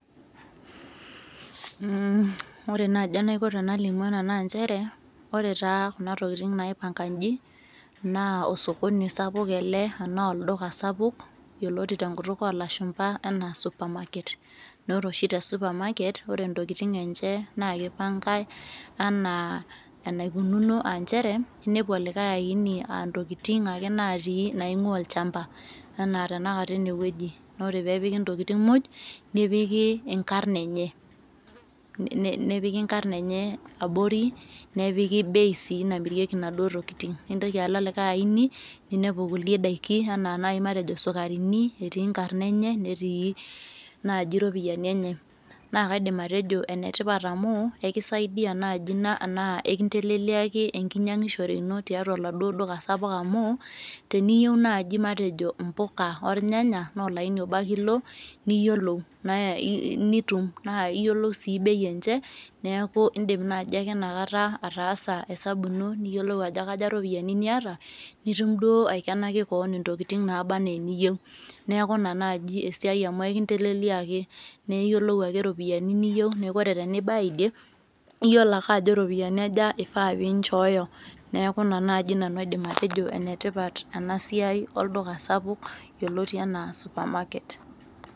Mh, ore naji enaiko tenalimu ena naa nchere , ore taa kuna tokitin naipanka inji naa osokoni sapuk ele anaa olduka sapuk yioloti tenkutuk olashumaba anaa supermarket naa ore oshi tesupermarket naa ore ntokitin enche naa kipankae enaa enaikununo aanchere inepu olikae aini aantokitin ake naatii naingwaa olchamba anaa tenakata enewueji naa ore peepiki ntokitin muj nipikie inkarn enye, nepik inkarn enye nepiki bei sii namirieki inaduo tokitin , nintoki alo likae aini , ninepu kulie daiki anaa nai matejo isukarini , etii nkarn enye , netii naji ropiyiani enye . Naa kaidim atejo enetipat amu ekisaidia naji ina naa enkiteleleaki enkinyangishore ino tialo aloduo duka sapuk amuu teniyieu naji impuka ornyanya naa olaini obo ake ilo niyiolou naa nitum naa iyiolou sii bei enche neeku indim naji ake inakata ataasa esabu ino , niyiolou ajo kaja iropiyiani niata , nitum duo aikenaki kewon ntokitin naba anaaa eniyieu , neaku ina naji esiai amu ekinteleleliaki naa iyiolou ake iropiyiani niyieu , neeku ore pibaya idie , iyiolo ake ajo iropiyiani aja ifaa pinchooyo niaku ina naji nanu aidim atejo enetipat ena siai olduka sapuk yioloti anaa supermarket .